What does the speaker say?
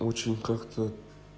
очень как-то